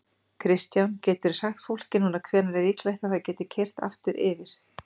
Kristján: Geturðu sagt fólki núna hvenær er líklegt að það geti keyrt aftur yfir?